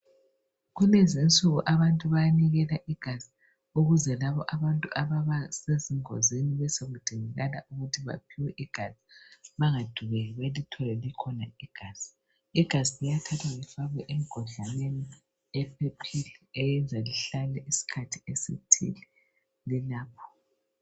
Kulezinsuku abantu banikela igazi ukuze abantu lapho abantu sebenze izingozi benelise ukulithola, igazi liyathathwa lifakwe emgodlaneni othi besiligcinwa liphephephile lilapho.